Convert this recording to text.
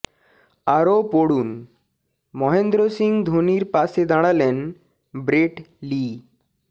আরও পড়ুন মহেন্দ্র সিং ধোনির পাশে দাঁড়ালেন ব্রেট লি